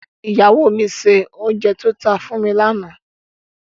Ìyáwó mi se òùnjẹ tó ta fún wa lànà.